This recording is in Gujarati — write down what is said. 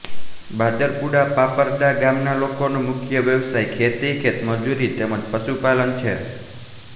બાદરપુરા પારપડા ગામના લોકોનો મુખ્ય વ્યવસાય ખેતી ખેતમજૂરી તેમ જ પશુપાલન છે